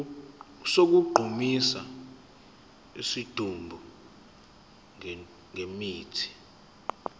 sokugqumisa isidumbu ngemithi